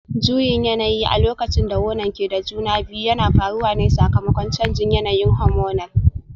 Juyin yanayi a lokacin da wonan ke da juna biyu yana faruwa ne sakamakon canjin yanayin hormonal